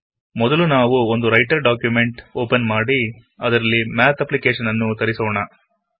ಮೊದಲು ನಾವು ಒಂದು ರೈಟರ್ ಡಾಕ್ಯುಮೆಂಟ್ ಒಪನ್ ಮಾಡಿ ಅದರಲ್ಲಿ ಮ್ಯಾತ್ ಅಪ್ಪ್ಲಿಕೇಶನ್ ಅನ್ನು ತರಿಸೋಣ